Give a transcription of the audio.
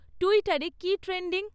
টুইটারে কী ট্রেন্ডিং?